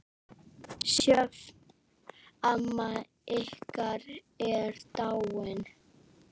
Sjöfn, amma okkar, er dáin.